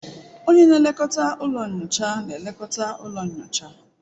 Onye na-elekọta ụlọ nyocha na-elekọta ụlọ nyocha